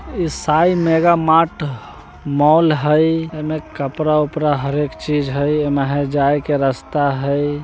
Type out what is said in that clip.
Sai mega mart mall हेय एमे कपड़ा-उपरा हर एक चीज हेय एमें हेय जाय के रास्ता --